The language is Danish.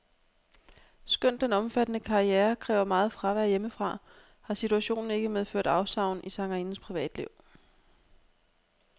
Skønt den omfattende karriere kræver meget fravær hjemmefra, har situationen ikke medført afsavn i sangerindens privatliv.